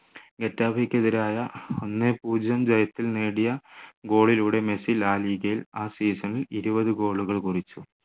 ഗെറ്റാഫെയ്‌ക്കെതിരായ ഒന്നേ പൂജ്യം ജയത്തിൽ നേടിയ goal ലൂടെ മെസ്സി la liga യിൽ ആ season ൽ ഇരുപത് goal കൾ കുറിച്ചു